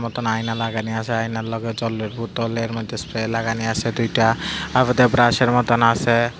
নতুন আয়না লাগানি আসে আয়নার লগে জলের বোতল এর মধ্যে স্প্রে লাগানি আসে দুইটা আবার দুই ব্রাশ এর মতন আসে।